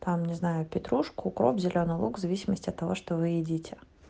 там не знаю петрушку укроп зелёный лук в зависимости от того что вы едите